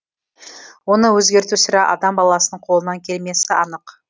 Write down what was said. оны өзгерту сірә адам баласының қолынан келмесі анық